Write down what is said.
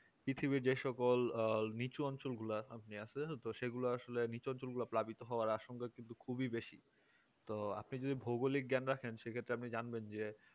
পৃথিবীর যে সকল আহ নিচু অঞ্চল গুলা আছে সেগুলো আসলে নিচু অঞ্চল গুলো প্লাবিত হওয়ার আশঙ্কা খুবই বেশি তো আপনি যদি ভৌগোলিক জ্ঞান রাখেন সে ক্ষেত্রে আপনি জানবেন যে